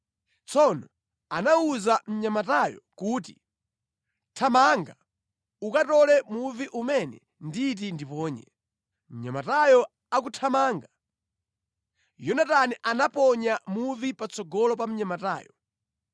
Tsono anawuza mnyamatayo kuti, “Thamanga ukatole muvi umene nditi ndiponye.” Mnyamatayo akuthamanga Yonatani anaponya muvi patsogolo pa mnyamatayo.